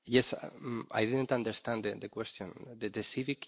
Perhaps you could get together afterwards and resolve that issue?